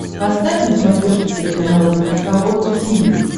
поставь на смотрешке телеканал эн эйч кей волд ти ви